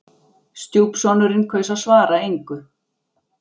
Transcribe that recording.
Stjúpsonurinn kaus að svara engu.